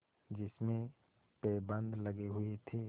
जिसमें पैबंद लगे हुए थे